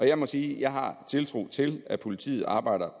jeg må sige at jeg har tiltro til at politiet arbejder